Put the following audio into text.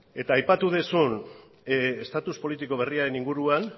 eta aipatu duzun estatus politiko berriaren inguruan